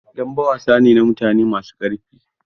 Dambe wasa ne na mutane masu karfi.